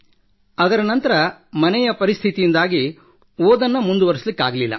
ಅದರ ನಂತರ ಪಾರಿವಾರಿಕ ಸ್ಥಿತಿಯಿಂದಾಗಿ ಓದನ್ನು ಮುಂದುವರಿಸಲಾಗಲಿಲ್ಲ